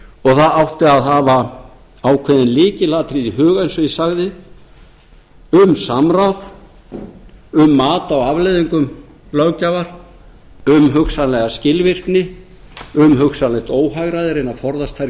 og það átti að hafa ákveðin lykilatriði í huga eins og ég sagði um samráð um mat á afleiðingum löggjafar um hugsanlega skilvirkni um hugsanlegt óhagræði reyna að forðast þær